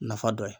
Nafa dɔ ye